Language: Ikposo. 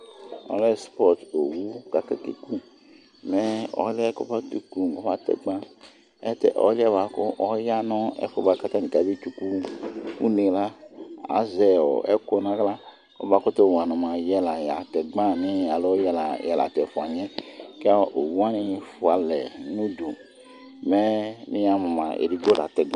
ɔlɛ sports ɔwʋ lakʋ akɛ kʋ mɛ ɔlʋɛ kʋ ɔkɛ kʋmʋa ɔma tɛ gba, ɔlʋɛ bʋakʋ ɔya nʋ ɛkʋɛ bʋakʋ ayɔ tsʋkʋ ʋnɛ la azɛ ɛkʋ nʋ ala kʋ ɔmakʋtʋ wanʋ mʋa yɛ la atɛ gba alɔ yɛla tatɛ ɛƒʋa niɛ, ɔwʋ wani ƒʋalɛ nʋ ʋdʋ mɛ ni yamʋ mʋa ɛdigbɔ latɛ gbaa